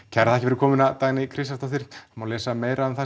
kærar þakkir fyrir komuna Dagný Kristjánsdóttir það má lesa meira um það